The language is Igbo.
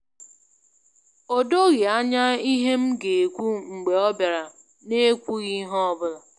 O doghị Anya ihe m ga-ekwu mgbe ọ bịara n'ekwughị ihe ọ bụla.